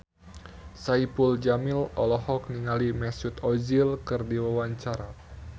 Saipul Jamil olohok ningali Mesut Ozil keur diwawancara